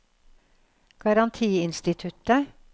garantiinstituttet